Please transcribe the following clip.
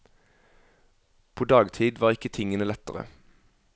På dagtid var ikke tingene lettere.